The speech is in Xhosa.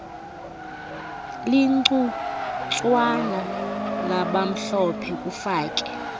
ligcuntswana labamhlophe kufake